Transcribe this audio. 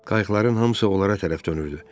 Qayıqların hamısı onlara tərəf dönürdü.